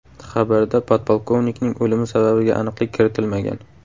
Xabarda podpolkovnikning o‘limi sababiga aniqlik kiritilmagan.